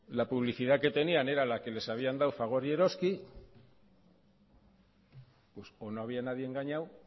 la publicidad que tenían era la que les habían dado fagor y eroski pues o no había nadie engañado